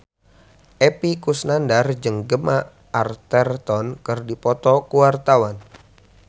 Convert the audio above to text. Epy Kusnandar jeung Gemma Arterton keur dipoto ku wartawan